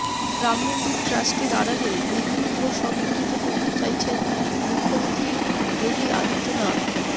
রাম মন্দির ট্রাস্টের আড়ালে হিন্দু ভোট সংগঠিত করতে চাইছেন মুখ্যমন্ত্রী যোগী আদিত্যনাথ